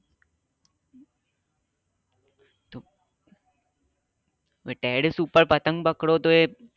terrace ઉપર પતંગ પકડો તોં એ